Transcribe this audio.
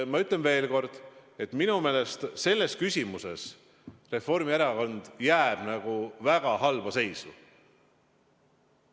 Ma ütlen veel kord, et minu meelest selles küsimuses jääb Reformierakond väga halba seisu.